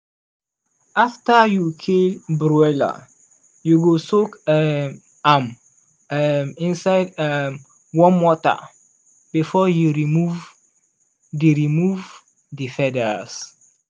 after you kill broiler you go soak um am um inside um warm water before you remove the remove the feathers.